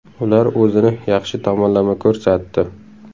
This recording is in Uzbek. Ular o‘zini yaxshi tomonlama ko‘rsatdi.